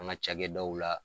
An ka ca kɛ da u la